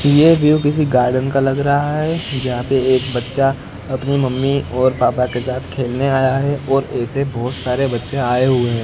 ये व्यू किसी गार्डन का लग रहा है जहां पे एक बच्चा अपनी मम्मी और पापा के साथ खेलने आया है और ऐसे बहोत सारे बच्चे आए हुए--